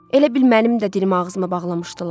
Elə bil mənim də dilimi ağzıma bağlamışdılar.